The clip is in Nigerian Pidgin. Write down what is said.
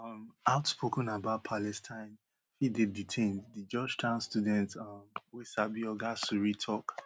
um outspoken about palestine fit dey detained di georgetown student um wey sabi oga suri tok